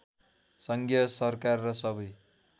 सङ्घीय सरकार र सबै